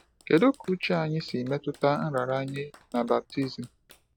Kedu ka uche anyị si metụta nraranye na baptizim?